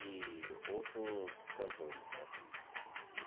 E outros cantores, né?